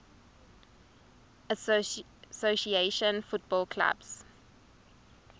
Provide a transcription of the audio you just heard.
association football clubs